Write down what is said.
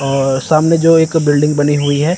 और सामने जो एक बिल्डिंग बनी हुई है।